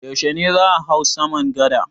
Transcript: Yaushe ne za a hau saman gada?